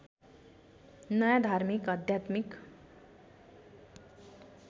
नयाँ धार्मिक आध्यात्मिक